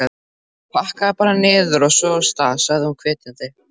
Pakkaðu bara niður, og svo af stað! sagði hún hvetjandi.